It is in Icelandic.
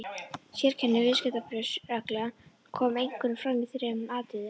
Sérkenni viðskiptabréfsreglna koma einkum fram í þremur atriðum.